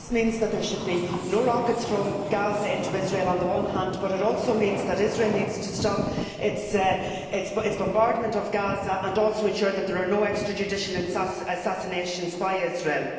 This means that there should be no rockets from Gaza into Israel on the one hand but it also means that Israel needs to stop its bombardment of Gaza and also ensure that there are no extrajudicial assassinations by Israel.